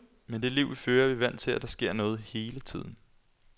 Med det liv, vi fører, er vi vant til, at der sker noget hele tiden.